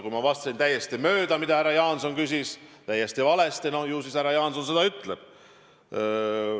Kui ma vastasin täiesti mööda sellele, mida härra Jaanson küsis, vastasin täiesti valesti, ju siis härra Jaanson seda ütleb.